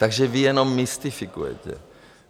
Takže vy jenom mystifikujete.